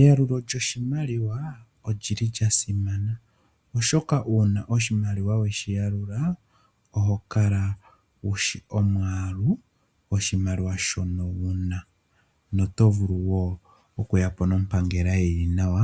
Eyalulo lyoshimaliwa olyili lya simana oshoka uuna oshimaliwa weshi yalula oho kala wushi omwaalu goshimaliwa shono wuna noto vulu wo okuyapo nompangela yili nawa